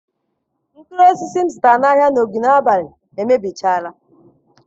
Mkpụrụ osisi m zụtara n'ahịa Ogunabali emebichaala.